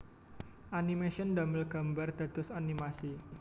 Animation damel gambar dados animasi